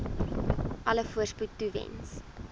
alle voorspoed toewens